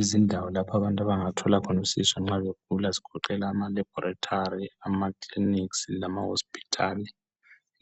Izindawo lapho abantu abangathola khona usizo nxa begula zigoqela ama laboratory, ama clinics lama hospitals